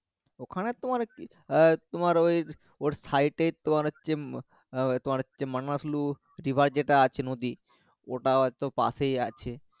ওখানে তোমার কি আহ তোমার ওই ওর side এই তোমার হচ্ছে আহ তোমার হচ্ছে মানাসলু river যেটা আছে নদী ওটাতো পাশেই আছে